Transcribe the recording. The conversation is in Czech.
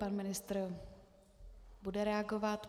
Pan ministr bude reagovat.